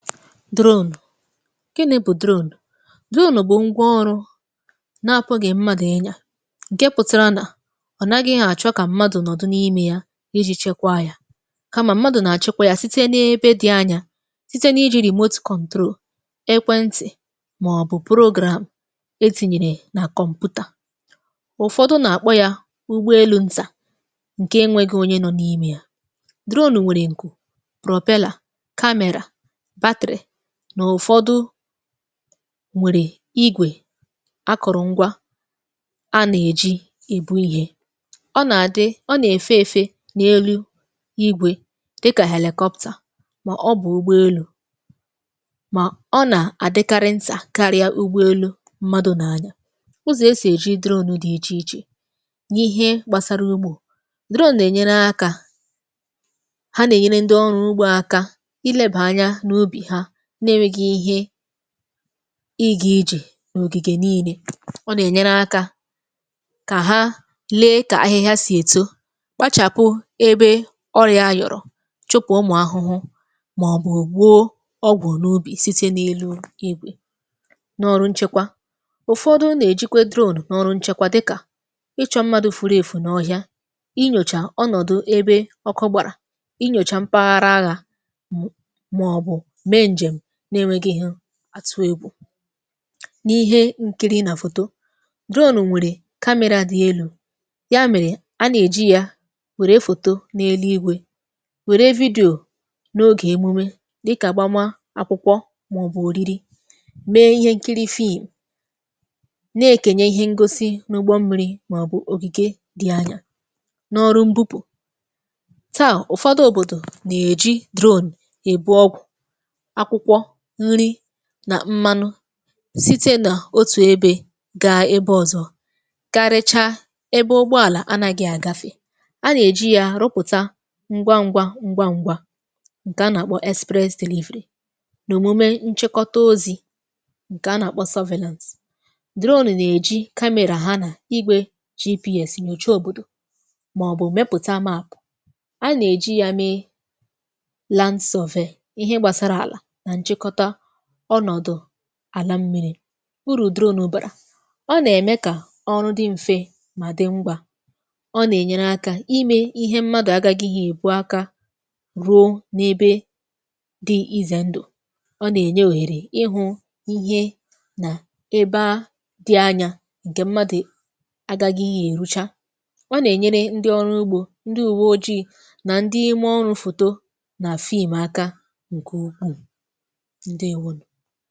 drones drones bụ̀ drone díonù bụ̀ ngwa ọrụ na-àpụ gị̇ mmadụ̀ ịnya ǹke pụtara nà ọ̀ naghị ihe àchụ kà mmadụ̀ nọ̀dụ n’ime ya iji chekwa yȧ kamà mmadụ̀ nà-àchekwa yȧ site n’ebe dị̇ anya site n’ijì rìma otù kọ̀doro ekwentị̀ màọbụ̀ pụ̀rụgram e tinyìrì nà kọ̀mpụ̀tà ụfọdụ nà-àkpọ yȧ ụgbọ elu̇ ntà ǹke enwėghi̇ onye nọ̇ n’ime ya drones nwèrè ǹkụ̀ nwèrè igwè akụ̀rụ̀ ngwa a nà-èji ìbu ihė ọ nà-àdị ọ nà-èfe efė n’elu igwè dịkà helikọpta mà ọ bụ̀ ụgbọelu̇ mà ọ nà-àdịkarị ntà karịa ụgbọelu̇ mmadụ̇ nà anya ụzọ̀ e sì èji drone dị̇ ichè ichè n’ihe gbasara ugbȯ dịrọ na-ènyere akȧ ha nà-ènyere ndị ọrụ ugbo aka ịgà ijè ògìgè niilė ọ nà ènyere akȧ kà ha lee kà ahịhịa sì èto gbachàpụ ebe ọrịa yọ̀rọ̀ chụ̀pụ̀ ụmụ̀ ahụhụ màọ̀bụ̀ gwọọ ọgwọ̀ n’ubì site n’elu igwè n’ọrụ nchekwa ụ̀fọdụ nà-èjikwe drone n’ọrụ nchekwa dịkà ịchọ̇ mmadu̇ furu èfù nà ọhịa ịnyòchà ọnọ̀dụ ebe ọkụgbàrà n’enweghi ihe atụ egwu̇ n’ihe nkiri nà foto drone nwèrè kamịrị̇ a dị̀ elu̇ ya mèrè a nà-èji ya nwèrè foto n’elu igwė nwère vidio n’ogè emume dịkà gbamȧ akwụkwọ màọbụ̀ òriri mee ihe nkiri phoen bu na-èkenye ihe ngosi n’ụgbọ mmi̇ri màọbụ̀ ogìge dị anya n’ọrụ mbupù taà ụfọdụ òbòdò nà-èji drone èbu ọgwụ̀ nà mmanụ site nà otù ebė gà ebe ọ̀zọ garrecha ebe ụgbọàlà anȧghị̇ àgafè a nà-èji yȧ rụpụ̀ta ngwa ngwa ngwa ngwa ngwa ǹkè a nà-àkpọ express dìvirie nà òmume nchekọta ozi̇ ǹkè a nà-àkpọ sọvelant drones drones nà-èji kamịrị ha nà igwė gps nyocha òbòdò màọbụ̀ mepụ̀ta maà a nà-èji yȧ me lens of e ihe gbàsara àlà ọnọ̀dụ̀ àla mmìrì̇ urù drone n’ụbàrà ọ nà-ème kà ọrụ dị mfe mà dị ngwa ọ nà-ènyere akȧ imė ihe mmadụ̀ agȧghị̇ ihe èbu aka ruo n’ebe dị izà ndụ̀ ọ nà-ènye wèrè ịhụ̇ ihe nà ebe a dị anya ǹkè mmadụ̀ agȧghị̇ ihe èrucha ọ nà-ènyere ndị ọrụ ugbȯ ndị ùwe oji̇ nà ndị ime ọrụ̇ fòto nà àfị ịmà aka ǹkè ukwu ndewonụ̀